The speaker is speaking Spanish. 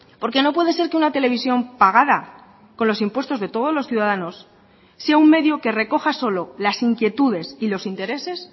porque no puede ser que una televisión pagada con los impuestos de todos los ciudadanos sea un medio que recoja solo las inquietudes y los intereses